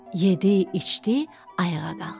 Yedi, içdi, ayağa qalxdı.